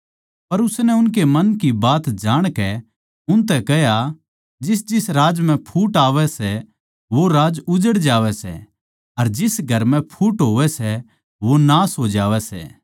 पर उसनै उनकै मन की बात जाणकै उनतै कह्या जिसजिस राज्य म्ह फूट आवै सै वो राज्य उजड़ जावै सै अर जिस घर म्ह फूट होवै सै वो नाश हो जावै सै